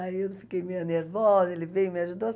Aí eu fiquei meio nervosa, ele veio e me ajudou.